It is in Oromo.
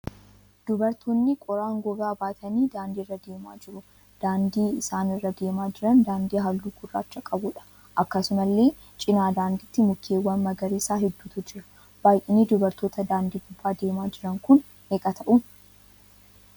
Dubartoonni qoraan gogaa baatanii daandiirra deemaa jiru. Daandii isaan irra deemaa jiran daandii halluu gurraachaa qabuudha. Akkasumallee cina daandiitti mukeewwan magariisaa hedduun jiru. Baayyinni dubartoota daandii gubbaa deemaa jiranii kun meeqa ta'uu?